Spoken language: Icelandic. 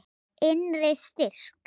Innri styrk.